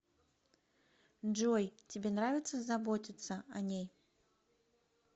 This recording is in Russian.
джой тебе нравится заботится о ней